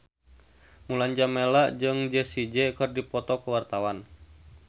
Mulan Jameela jeung Jessie J keur dipoto ku wartawan